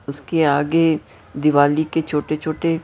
उसके आगे दिवाली के छोटे-छोटे--